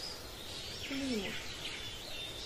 плимут